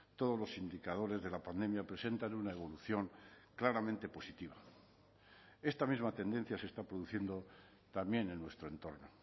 todos los indicadores de la pandemia presentan una evolución claramente positiva esta misma tendencia se está produciendo también en nuestro entorno